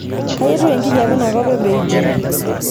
kai etiu enkijape inakop e beijing